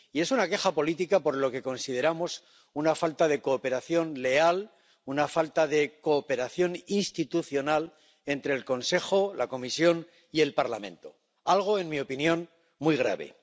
Y es una queja política por lo que consideramos una falta de cooperación leal, una falta de cooperación institucional entre el Consejo, la Comisión y el Parlamento, algo en mi opinión muy grave.